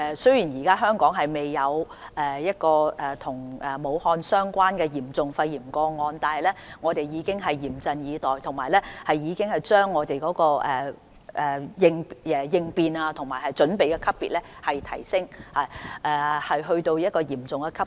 雖然香港現時未有一宗與武漢病例有關的嚴重肺炎個案，但我們已經嚴陣以待，並已經把應變級別提升至"嚴重"級別。